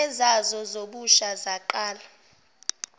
ezazo zobusha zaqala